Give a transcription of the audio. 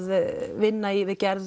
vinna í við gerð